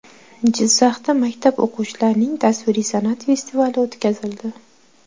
Jizzaxda maktab o‘quvchilarining tasviriy san’at festivali o‘tkazildi.